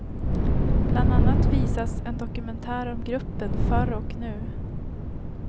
Bland annat visas en dokumentär om gruppen förr och nu.